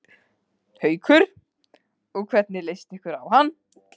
Haukur: Og hvernig leist ykkur á hann?